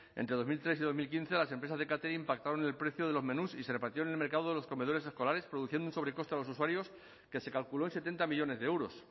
entre dos mil tres y dos mil quince las empresas de catering pactaron el precio de los menús y se repartieron el mercado de los comedores escolares produciendo un sobrecoste a los usuarios que se calculó en setenta millónes de euros